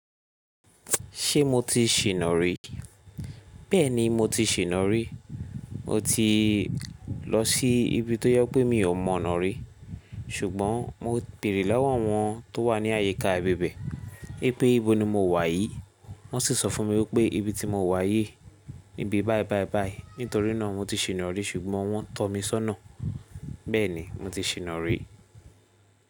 Ṣé mo ti sinà rí? Bẹ́ẹ̀ni mo ti sinà rí. Mo ti lọ sí ibi tó jẹ pé mi ò mọnà rí. Ṣùgbọ́n mo beèrè lowo áwọn tó wà ní àyíká ibibè wipé ìbò ni mo wà yìí. Wọ́n sì sọ fún mi wípé ibi tí mo wà yìí ni ibi báì báì báì. Nítorí náà mo ti sinà rí ṣùgbọ́n wọ́n tọ́ mi sọ́nà. Bẹ́ẹ̀ni mo ti sè nàrí.